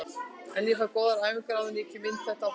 En fæ góðar æfingar áður en ég kem inní þetta á fullu.